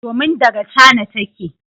Domin daga China take.